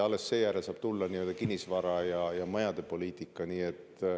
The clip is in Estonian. Alles seejärel saab tulla kinnisvara- ja majade poliitika.